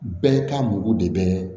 Bɛɛ ka mugu de bɛ